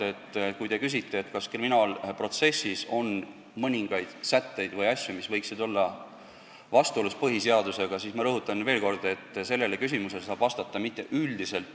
Kui te küsite, kas kriminaalprotsessis on midagi, mis võiks olla vastuolus põhiseadusega, siis ma rõhutan veel kord, et sellele küsimusele ei saa üldiselt vastata.